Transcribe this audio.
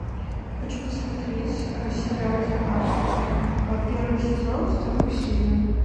хочу посмотреть сериал зе акт первый сезон вторую серию